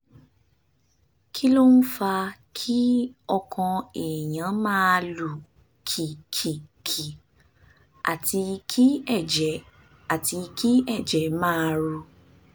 kí ló ń fa kí ọkàn èèyàn máa lù kìkìkì àti kí ẹ̀jẹ̀ àti kí ẹ̀jẹ̀ máa ru?